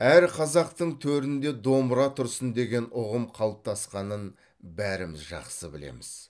әр қазақтың төрінде домбыра тұрсын деген ұғым қалыптасқанын бәріміз жақсы білеміз